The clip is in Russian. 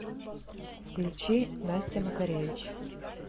включи настя макаревич